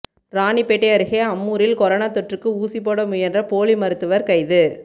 ராணிப்பேட்டை அருகே அம்மூரில் கொரோனா தொற்றுக்கு ஊசிபோட முயன்ற போலி மருத்துவர் கைது